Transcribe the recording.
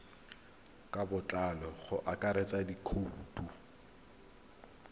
ka botlalo go akaretsa dikhoutu